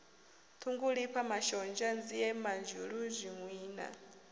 ṱhungulifha mashonzha nzie madzhulu zwinwiwa